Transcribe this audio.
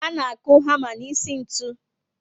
A na aku hama n'isi ntụ